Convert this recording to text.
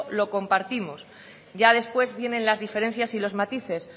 lo compartimos ya después vienen las diferencias y los matices